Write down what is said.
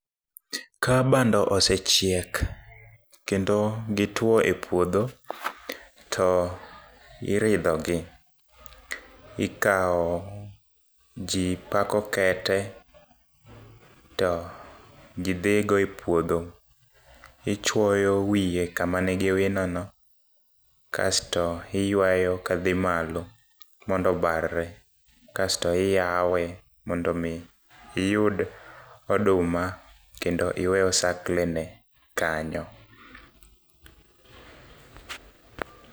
Ka bando osechiek, kendo gitwo e puodho, to iridhogi. Ikawo nji pako kete, to ji dhigo e puodho. Ichwoyo wiyo kama nigi winono, kasto iywayo kadhi malo, mondo obarre kasto iyawe mondo omi iyud oduma kendo iwe osaklene kanyo.